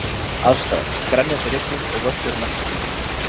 Aðstæður: Grenjandi rigning og völlurinn eftir því.